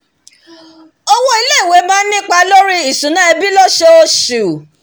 owó ilé-ìwé máa ń nípa lórí ìṣúná ẹbí lóṣooṣù